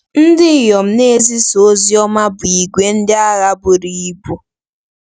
“Ndị inyom na-ezisa ozi ọma bụ ìgwè ndị agha buru ibu.”